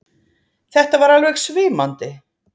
Þetta var alveg svimandi!